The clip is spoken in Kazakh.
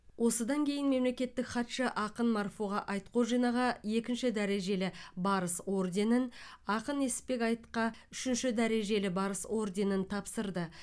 осыдан кейін мемлекеттік хатшы ақын марфуға айтхожинаға екінші дәрежелі барыс орденін ақын несіпбек айтқа үшінші дәрежелі барыс орденін тапсырды